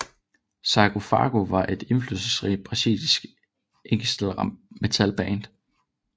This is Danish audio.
Sarcófago var et indflydelsesrigt brasiliansk ekstremmetalband